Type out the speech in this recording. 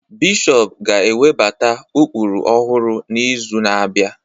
Bishọp ga-ewebata ụkpụrụ ọhụrụ n'izu na-abịa